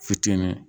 Fitinin